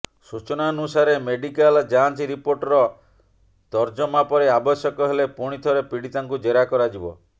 ସୂଚନାନୁସାରେ ମେଡିକାଲ ଯାଞ୍ଚ ରିପୋର୍ଟର ତର୍ଜମା ପରେ ଆବଶ୍ୟକ ହେଲେ ପୁଣି ଥରେ ପୀଡ଼ିତାଙ୍କୁ ଜେରା କରାଯିବ